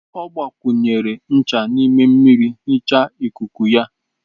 Ọ gbakwunyere ncha n'ime mmiri nhicha ikuku ya.